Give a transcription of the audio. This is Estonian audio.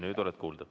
Nüüd oled kuulda.